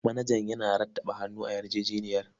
Manajan yana rattaba hannu a yarjejeniyar.